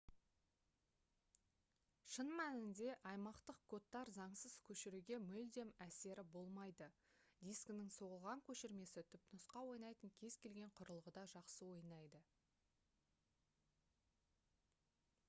шын мәнінде аймақтық кодтар заңсыз көшіруге мүлдем әсері болмайды дискінің соғылған көшірмесі түпнұсқа ойнайтын кез-келген құрылғыда жақсы ойнайды